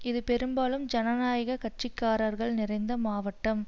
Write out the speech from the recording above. இது பெரும்பாலும் ஜனநாயக கட்சி காரர்கள் நிறைந்த மாவட்டம்